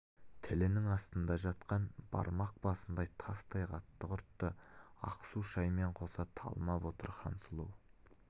тілінің астында жатқан бармақ басындай тастай қатты құртты ақ су шаймен қоса талмап отыр хансұлу